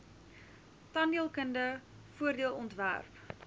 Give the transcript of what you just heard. tandheelkunde voordeel ontwerp